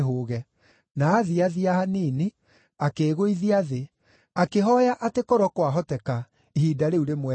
Na aathiathia hanini, akĩĩgũithia thĩ, akĩhooya atĩ korwo kwahoteka, ihinda rĩu rĩmweherere.